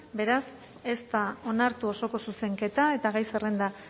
beraz ez da onartu oso zuzenketa eta gai zerrenda